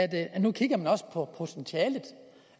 at nu kigger man også på potentialet